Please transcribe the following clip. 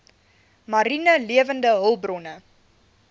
mariene lewende hulpbronne